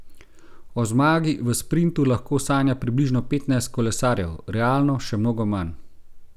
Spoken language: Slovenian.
O zmagi v sprintu lahko sanja približno petnajst kolesarjev, realno še mnogo manj.